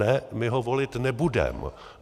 Ne, my ho volit nebudeme.